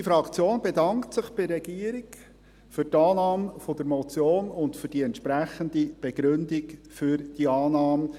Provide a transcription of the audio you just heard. Unsere Fraktion bedankt sich bei der Regierung für die Annahme der Motion und die entsprechende Begründung für diese Annahme.